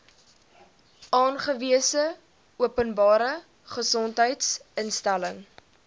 aangewese openbare gesondheidsinstelling